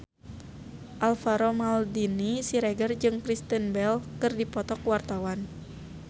Alvaro Maldini Siregar jeung Kristen Bell keur dipoto ku wartawan